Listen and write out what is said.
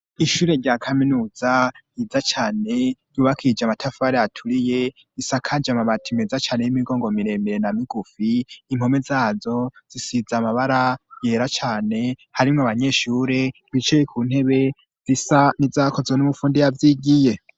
Ishure rya kaminuza ryiza cane ryubakije amatafari aturiye, risa kanje amabati meza cane y'imigongo mirembe na migufi. Impome zazo zisa n'amabara yera cane, harimwo abanyeshure bicaye ku ntebe zisa n'izakozwe n'umufundi yavyigiye.